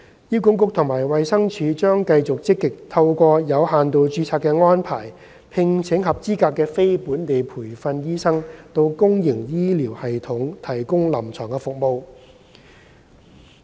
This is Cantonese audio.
醫管局及衞生署將繼續積極透過有限度註冊的安排聘請合資格的非本地培訓醫生到公營醫療系統提供臨床服務。